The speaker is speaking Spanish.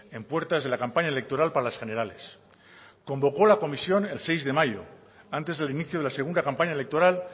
en puertas de la campaña electoral para las generales convocó la comisión el seis de mayo antes del inicio de la segunda campaña electoral